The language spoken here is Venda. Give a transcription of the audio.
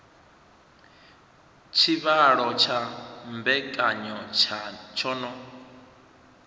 tshivhalo tsha mbekanya tsho no